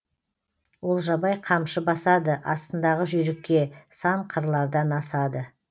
олжабай қамшы басады астындағы жүйрікке сан қырлардан асады